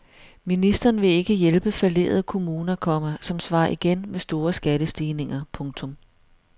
Ministeren vil ikke hjælpe fallerede kommuner, komma som svarer igen med store skattestigninger. punktum